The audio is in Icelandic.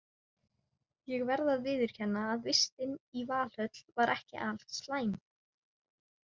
En ég verð að viðurkenna að vistin í Valhöll var ekki alslæm.